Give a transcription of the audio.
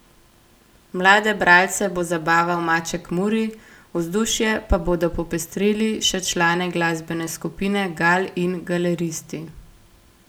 Mlade bralce bo zabaval Maček Muri, vzdušje pa bodo popestrili še člani glasbene skupine Gal in Galeristi.